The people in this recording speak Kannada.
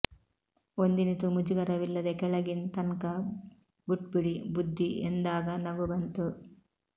ಒಂದಿನಿತೂ ಮುಜುಗರವಿಲ್ಲದೆ ಕೆಳಗಿನ್ ತನ್ಕಾ ಬುಟ್ಪಿಡಿ ಬುದ್ದಿ ಎಂದಾಗ ನಗು ಬಂತು